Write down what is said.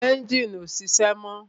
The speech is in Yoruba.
Ẹ́njìnì ọ́ sise mọ́